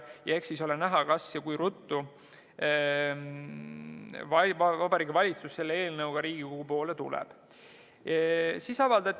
Ja eks siis ole näha, kas ja kui ruttu Vabariigi Valitsus selle eelnõuga Riigikogusse tuleb.